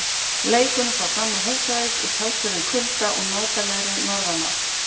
Leikurinn fór fram á Húsavík í talsverðum kulda og duglegri norðanátt.